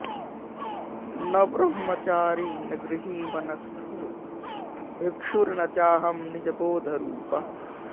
न ब्रह्मचारी न गृही वनस्थो भिक्षुर्न चाहं निजबोधरूपः